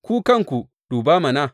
Ku kanku duba mana.